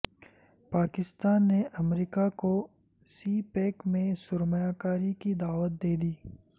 پاکستان نے امریکا کو سی پیک میں سرمایہ کاری کی دعوت دیدی